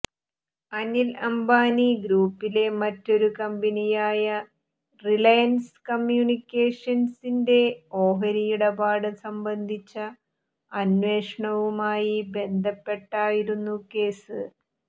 അനില് അംബാനി ഗ്രൂപ്പിലെ മറ്റൊരു കമ്പനിയായ റിലയന്സ് കമ്യൂണിക്കേഷന്സിന്റെ ഓഹരിയിടപാട് സംബന്ധിച്ച അന്വേഷണവുമായി ബന്ധപ്പെട്ടായിരുന്നു കേസ്